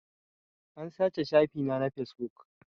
An sace shafi na na fesbuk